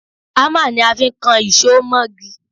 Hámà ni a fi ń kan ìṣó mọ́gi